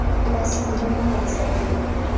polasing le menontsha e na